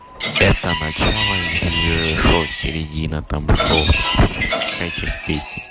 это начало или что середина там что какая часть песни